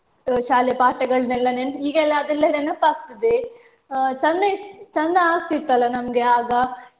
ಅಹ್ ಶಾಲೆ ಪಾಠಗಳನ್ನೆಲ್ಲ ನೆನಪ್~ ಈಗ ಎಲ್ಲ ಅದೆಲ್ಲ ನೆನಪಾಗ್ತದೆ ಅಹ್ ಚಂದ ಇತ್ತ್~ ಚಂದ ಆಗ್ತಿತ್ತಲ್ಲ ನಮ್ಗೆ ಆಗ